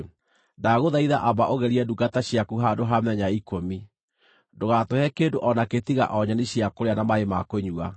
“Ndagũthaitha, amba ũgerie ndungata ciaku handũ ha mĩthenya ikũmi: Ndũgaatũhe kĩndũ o nakĩ tiga o nyeni cia kũrĩa na maaĩ ma kũnyua.